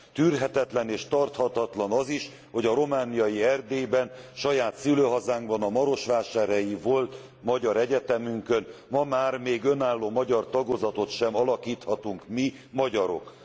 Tűrhetetlen és tarthatatlan az is, hogy a romániai Erdélyben, saját szülőhazánkban, a marosvásárhelyi volt magyar egyetemünkön ma már önálló magyar tagozatot sem alakíthatunk mi, magyarok.